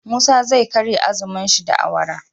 Musa zai karya azumun shi da awara